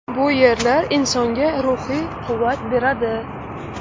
Bu yerlar insonga ruhiy quvvat beradi.